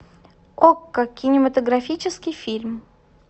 окко кинематографический фильм